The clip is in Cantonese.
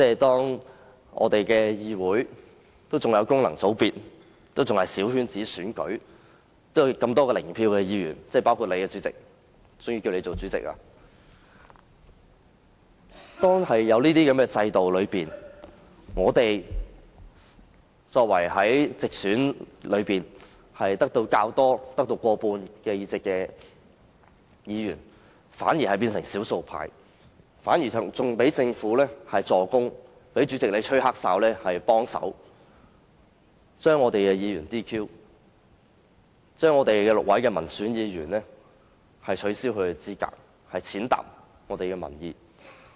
當議會內有功能界別和小圈子選舉，還有多位"零票議員"——包括主席閣下，所以由你擔當主席——在這樣的制度下，我們這些獲得過半直選議席的議員反而變成少數派，更在政府助攻及主席幫忙吹"黑哨"的情況下，取消了6位民選議員的資格，踐踏民意。